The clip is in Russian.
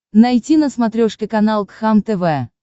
найти на смотрешке канал кхлм тв